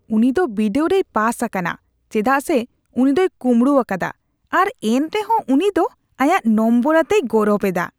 ᱩᱱᱤ ᱫᱚ ᱵᱤᱰᱟᱹᱣ ᱨᱮᱭ ᱯᱟᱥ ᱟᱠᱟᱱᱟ ᱪᱮᱫᱟᱜ ᱥᱮ ᱩᱱᱤ ᱫᱚᱭ ᱠᱩᱢᱲᱩ ᱟᱠᱟᱫᱟ ᱟᱨ ᱮᱱ ᱨᱮᱦᱚᱸ ᱩᱱᱤ ᱫᱚ ᱟᱭᱟᱜ ᱱᱚᱢᱵᱚᱨ ᱟᱛᱮᱭ ᱜᱚᱨᱚᱵ ᱮᱫᱟ ᱾